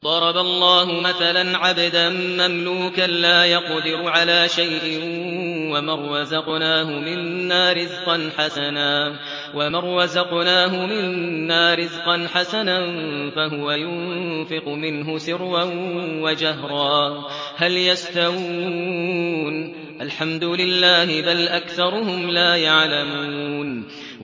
۞ ضَرَبَ اللَّهُ مَثَلًا عَبْدًا مَّمْلُوكًا لَّا يَقْدِرُ عَلَىٰ شَيْءٍ وَمَن رَّزَقْنَاهُ مِنَّا رِزْقًا حَسَنًا فَهُوَ يُنفِقُ مِنْهُ سِرًّا وَجَهْرًا ۖ هَلْ يَسْتَوُونَ ۚ الْحَمْدُ لِلَّهِ ۚ بَلْ أَكْثَرُهُمْ لَا يَعْلَمُونَ